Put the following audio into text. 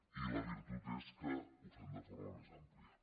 i la virtut és que ho fem de forma més àmplia